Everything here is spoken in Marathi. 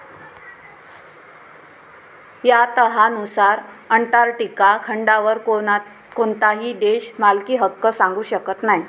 या तहानुसार, अंटार्क्टिका खंडावर कोणताही देश मालकीहक्क सांगू शकत नाही.